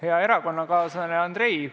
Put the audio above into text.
Hea erakonnakaaslane Andrei!